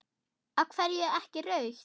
Af hverju ekki rautt?